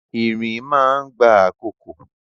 Ìrìn máa n gba àkókò